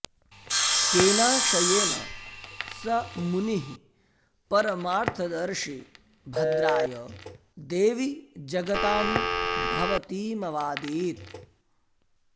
केनाशयेन स मुनिः परमार्थदर्शी भद्राय देवि जगतां भवतीमवादीत्